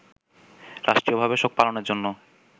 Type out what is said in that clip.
রাষ্ট্রীয়ভাবে শোক পালনের জন্য